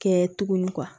Kɛ tuguni